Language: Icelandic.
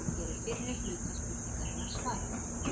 Hér er fyrri hluta spurningarinnar svarað.